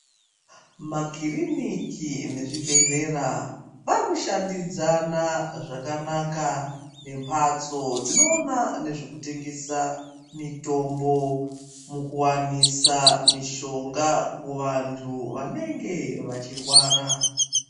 Makiriniki nezvibhedhlera vari kushandidzana zvakanaka ngembatso dzinoona nezvekutengesa mitombo mukuwanisa mishonga muvantu vanenge vachirwara.